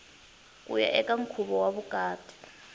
kuya eka nkhuvo wa vukati